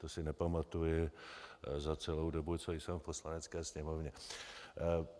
To si nepamatuji za celou dobu, co jsem v Poslanecké sněmovně.